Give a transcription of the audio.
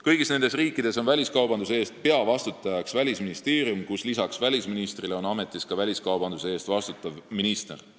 Kõigis nendes riikides on peavastutus välisministeeriumil, kus on lisaks välisministrile ametis ka väliskaubanduse eest vastutav minister.